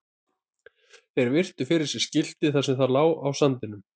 Þeir virtu fyrir sér skiltið þar sem það lá á sandinum.